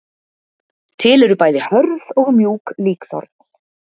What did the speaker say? Til eru bæði hörð og mjúk líkþorn.